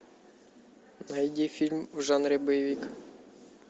найди фильм в жанре боевик